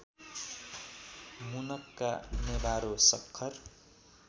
मुनक्का नेभारो सक्खर